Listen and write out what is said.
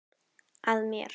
Að mér.